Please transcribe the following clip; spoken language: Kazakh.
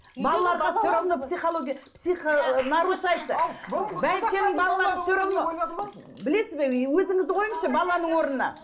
білесіз бе ііі өзіңізді қойыңызшы баланың орнына